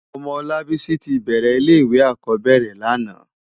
Òmò Olabisi ti bèrè ilé iwé ákòbèrè làná